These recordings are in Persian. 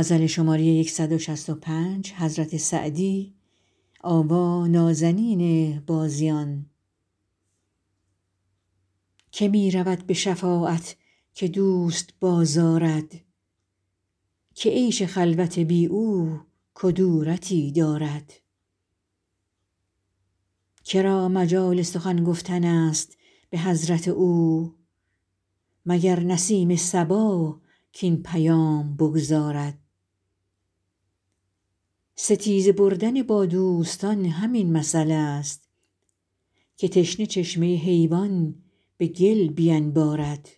که می رود به شفاعت که دوست بازآرد که عیش خلوت بی او کدورتی دارد که را مجال سخن گفتن است به حضرت او مگر نسیم صبا کاین پیام بگزارد ستیزه بردن با دوستان همین مثلست که تشنه چشمه حیوان به گل بینبارد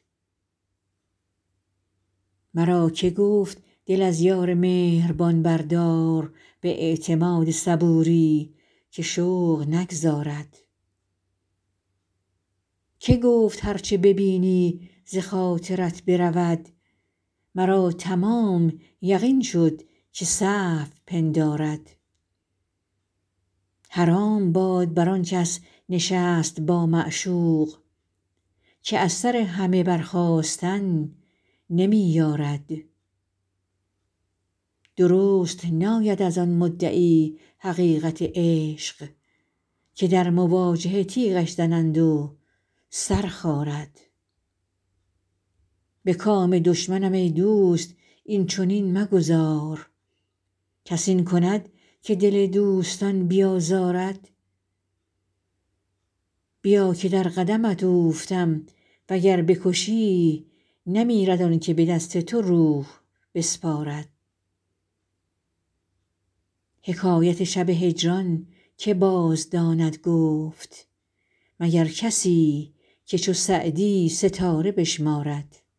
مرا که گفت دل از یار مهربان بردار به اعتماد صبوری که شوق نگذارد که گفت هر چه ببینی ز خاطرت برود مرا تمام یقین شد که سهو پندارد حرام باد بر آن کس نشست با معشوق که از سر همه برخاستن نمی یارد درست ناید از آن مدعی حقیقت عشق که در مواجهه تیغش زنند و سر خارد به کام دشمنم ای دوست این چنین مگذار کس این کند که دل دوستان بیازارد بیا که در قدمت اوفتم و گر بکشی نمیرد آن که به دست تو روح بسپارد حکایت شب هجران که بازداند گفت مگر کسی که چو سعدی ستاره بشمارد